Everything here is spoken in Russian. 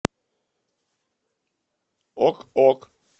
ок ок